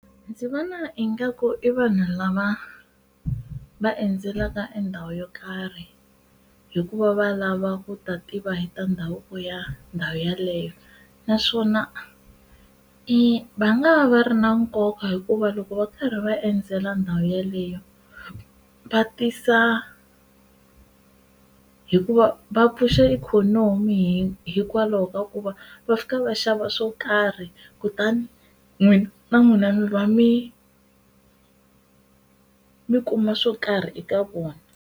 Ndzi vona ingaku i vanhu lava va endzelaka e ndhawu yo karhi hikuva va lava ku ta tiva hi ta ndhavuko ya ndhawu yeleyo naswona e va nga va ri na nkoka hikuva loko va karhi va endzela ndhawu yeleyo va tisa hikuva va pfuxa ikhonomi mi hikwalaho ka ku va va fika va xava swo karhi kutani n'wina na n'wina mi va mi mi kuma swo karhi eka vona.